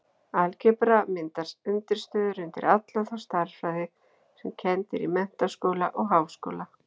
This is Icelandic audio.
Algebra myndar undirstöður undir alla þá stærðfræði sem kennd er í menntaskóla og háskóla.